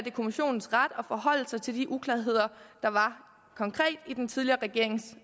er kommissionens ret at forholde sig til de uklarheder der var konkret i den tidligere regerings